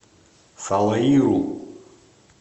салаиру